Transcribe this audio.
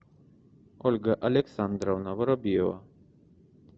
ольга александровна воробьева